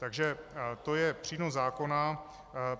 Takže to je přínos zákona.